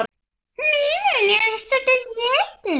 Hnýðin eru stundum étin.